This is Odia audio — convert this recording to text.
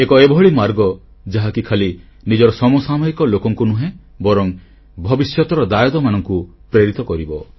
ଏକ ଏଭଳି ମାର୍ଗ ଯାହାକି ଖାଲି ନିଜର ସମସାମୟିକ ଲୋକଙ୍କୁ ନୁହେଁ ବରଂ ଭବିଷ୍ୟତର ଦାୟାଦମାନଙ୍କୁ ପ୍ରେରିତ କରିବ